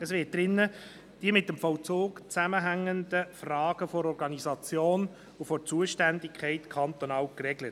Es werden darin die mit dem Vollzug zusammenhängenden Fragen der Organisation und Zuständigkeit kantonal geregelt.